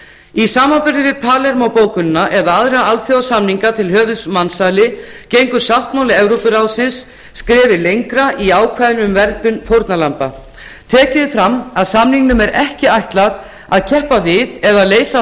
í samanburði við palermó bókunina eða aðra alþjóðasamninga til höfuðs mansali gengur sáttmáli evrópuráðsins skrefi langra í ákvæðum um verndun fórnarlamba tekið er fram að samningnum er ekki ætlað að keppa við eða leysa af